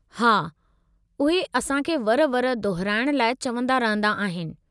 हा, उहे असां खे वर वर दोहिराइणु लाइ चवंदा रहंदा आहिनि।